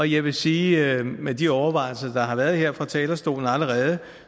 jeg vil sige med de overvejelser der har været her fra talerstolen allerede